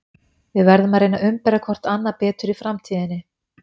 Við verðum að reyna að umbera hvort annað betur í framtíðinni.